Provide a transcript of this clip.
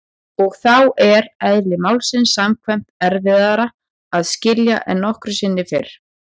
Og þá er- eðli málsins samkvæmt- erfiðara að skilja en nokkru sinni fyrr.